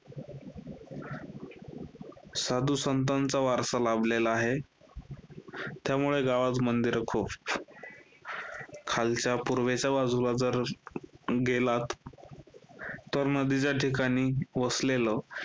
साधूसंतांचा वारसा लाभलेला आहे, त्यामुळे गावात मंदिर खूप. खालच्या पूर्वेच्या बाजूला जर गेलात तर नदीच्या ठिकाणी वसलेलं